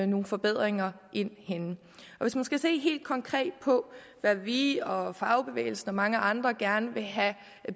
nogle forbedringer ind henne hvis man skal se helt konkret på hvad vi og fagbevægelsen og mange andre gerne vil have